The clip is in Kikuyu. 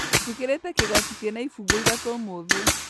Njĩkĩrĩte kĩgoti kĩna ibungo ithatũ ũmũthĩ